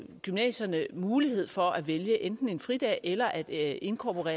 gymnasierne mulighed for at vælge enten en fridag eller at inkorporere